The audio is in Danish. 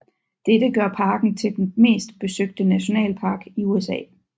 Dette gør parken til den mest besøgte nationalpark i USA